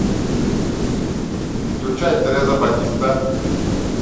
включай тереза батиста